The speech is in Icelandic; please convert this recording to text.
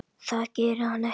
Það gerir hann ekki!